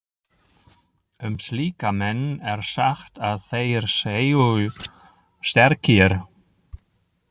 Um slíka menn er sagt að þeir séu sterkir.